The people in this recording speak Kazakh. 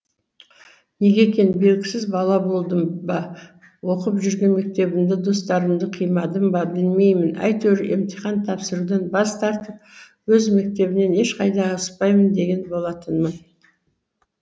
неге екені белгісіз бала болдым ба оқып жүрген мектебімді достарымды қимадым ба білмеймін әйтеуір емтихан тапсырудан бас тартып өз мектебімнен ешқайда ауыспаймын деген болатынмын